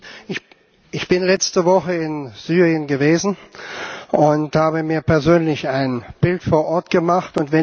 Herr Präsident! Ich bin letzte Woche in Syrien gewesen und habe mir persönlich ein Bild vor Ort gemacht.